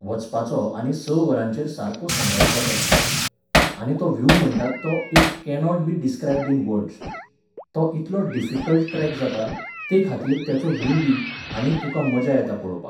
वचपाचो आनी स वरांचेर सारको सनरायझ जाता थंय. आनी तो व्ह्यू म्हणटात तो it cannot be described in words. तो इतलो डिफीकल्ट ट्रॅक जाता, तेखातीर तेचो व्ह्यूयबी, आनी तुका मजा येता पळोवपाक.